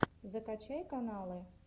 закачай каналы